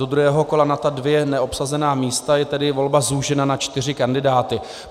Do druhého kola na ta dvě neobsazená místa je tedy volba zúžena na čtyři kandidáty.